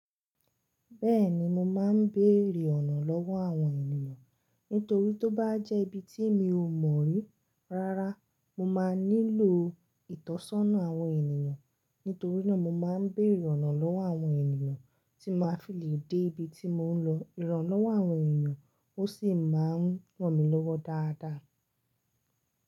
Bẹ́ẹ̀ni mo máa ń béèrè ọ̀nà lọ́wọ́ àwọn ènìyàn. Nítorí tó bá jẹ́ ibi tí mi ò mọ̀ rí rárá mo máa nílò ìtọ́sọ́nà àwọn ènìyàn. Nítorí náà mo máa ń béèrè ọ̀nà lọ́wọ́ àwọn ènìyàn tí máa fi lè dé ibi tí mò ń lọ. Ìrànlọ́wọ́ àwọn ènìyàn ó sì máa ń ràn mí lọ́wọ́ dáadáa.